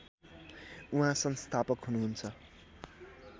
उहाँ संस्थापक हुनुहुन्छ